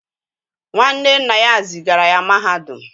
Nwanne nna ya zigara ya mahadum